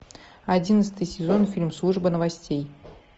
одиннадцатый сезон фильм служба новостей